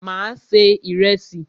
Mà á se ìrẹsì.